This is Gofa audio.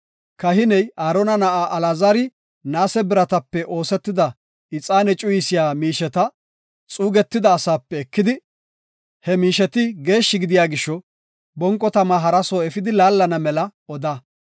“Kahiney, Aarona na7aa Alaazari naase biratape oosetida ixaane cuyisiya miisheta xuugetida asaape ekidi, he miisheti geeshshi gidiya gisho, bonqo tama hara soo efidi laallana mela oda.